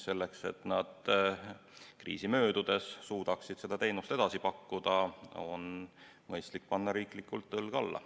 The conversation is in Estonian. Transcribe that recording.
Selleks, et nad kriisi möödudes suudaksid seda teenust edasi pakkuda, on mõistlik panna riigil õlg alla.